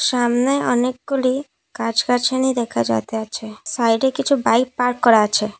সামনে অনেকগুলি গাছ-গাছালি দেখা যাইতেছে সাইডে কিছু বাইক পার্ক করা আছে।